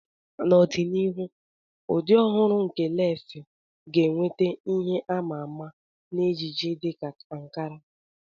N'ọdịnihu, ụdị ọhụrụ nke lesii ga-enweta ihe a ma ama na ejiji dị ka ankara.